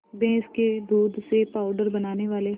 भैंस के दूध से पावडर बनाने वाले